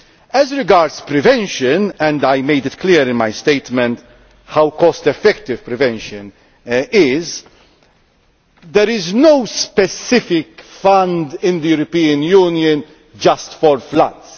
As regards prevention and I made it clear in my statement how cost effective prevention is there is no specific fund in the European Union just for floods.